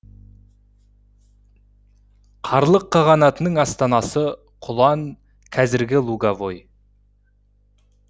қарлық қағанатының астанасы құлан қазіргі луговой